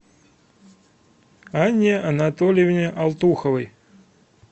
анне анатольевне алтуховой